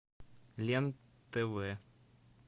лен тв